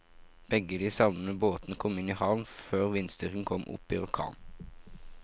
Begge de savnede båtene kom i havn før vindstyrken kom opp i orkan.